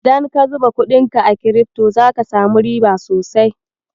Idan ka zuba kuɗinka a kirifto, zaka samu riba sosai.